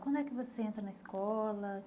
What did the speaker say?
Quando é que você entra na escola?